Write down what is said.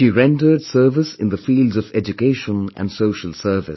She rendered service in the fields of education and social service